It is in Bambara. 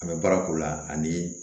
An bɛ baara k'o la ani